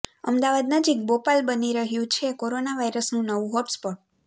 અમદાવાદ નજીક બોપલ બની રહ્યું છે કોરોના વાયરસનું નવું હોટસ્પોટ